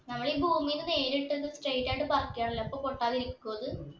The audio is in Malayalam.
നമ്മളീ ഭൂമീല് വേരിട്ടത് straight ആയിട്ട് പറിക്കാനല്ലേ അപ്പൊ പൊട്ടാതിരിക്കോ അത്